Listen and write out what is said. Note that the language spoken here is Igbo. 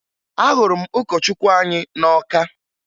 Ahụrụ m ụkọchukwu anyị na Ọka